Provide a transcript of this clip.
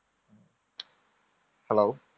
hello